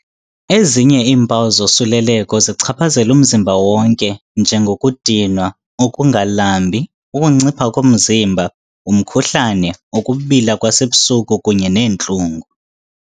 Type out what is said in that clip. Ezinye iimpawu zosuleleko zichaphazela umzimba wonke, njengokudinwa, ukungalambi, ukuncipha komzimba, umkhuhlane, ukubila kwasebusuku kunye neentlungu.